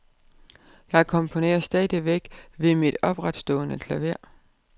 Jeg komponerer stadigvæk ved mit opretstående klaver.